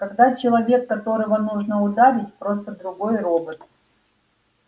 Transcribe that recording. когда человек которого нужно ударить просто другой робот